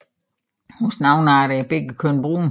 Hos nogle arter er begge køn brune